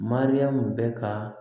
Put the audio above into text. Mariyamu bɛ ka